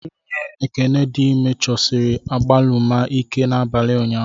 Nwunye Ekene dị ime chọsiri agbaluma ike n'abalị ụnyahụ.